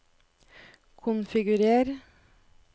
konfigurer